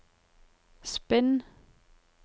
spinn